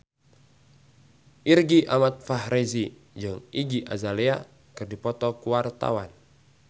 Irgi Ahmad Fahrezi jeung Iggy Azalea keur dipoto ku wartawan